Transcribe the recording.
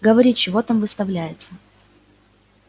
говори чего там выставляется